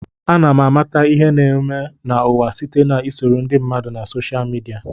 Ana m amata ihe na-eme n'ụwa site na isoro ndị mmadụ na soshal midia.